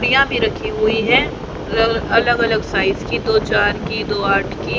पिया भी रखी हुए है अलग अलग साइज की दो चार की दो आठ की।